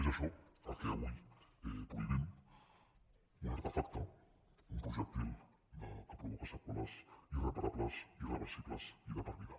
és això el que avui prohibim un artefacte un projectil que provoca seqüeles irreparables irreversibles i de per vida